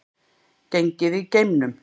Gengið í geimnum